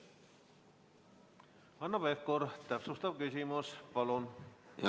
Hanno Pevkur, täpsustav küsimus, palun!